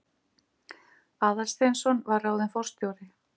Aðalsteinsson var ráðinn forstjóri.